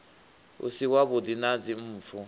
u si wavhuḓi na dzimpfu